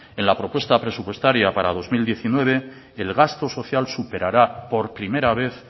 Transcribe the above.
en la propuesta presupuestaria para dos mil diecinueve el gasto social superará por primera vez